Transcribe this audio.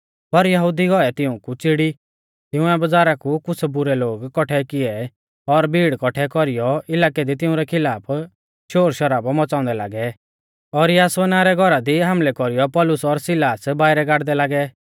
पर यहुदी गौऐ तिऊंकु च़िड़ी तिंउऐ बज़ारा कु कुछ़ बुरै लोग कौट्ठै किऐ और भीड़ कौट्ठै कौरीयौ इलाकै दी तिंउरै खिलाफ शोरशराबौ मच़ाउंदै लागै और यासोना रै घौरा दी हामलै कौरीयौ पौलुस और सिलास बाइरै गाड़दै लागै